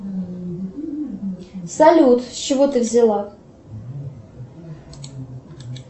салют с чего ты взяла